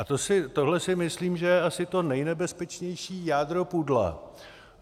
A tohle si myslím, že je asi to nejnebezpečnější jádro pudla.